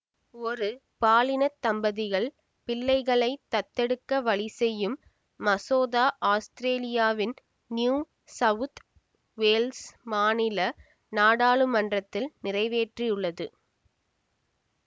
ஒரு பாலினத் தம்பதிகள் பிள்ளைகளைத் தத்தெடுக்க வழி செய்யும் மசோதா ஆஸ்திரேலியாவின் நியூ சவுத் வேல்ஸ் மாநில நாடாளுமன்றத்தில் நிறைவேற்றியுள்ளது